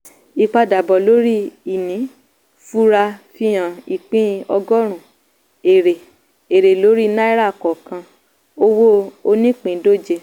ìpadàbọ̀ lórí ìní fura fihan ìpín ọgọ́rùn-ún èrè èrè lórí náírà kọ̀ọ̀kan owó onípìíndòje.